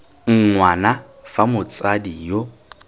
ng wana fa motsadi yo